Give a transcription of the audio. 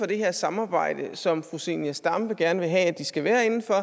det her samarbejde som fru zenia stampe gerne vil have at de skal være inden for